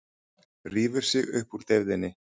Rífur sig upp úr deyfðinni.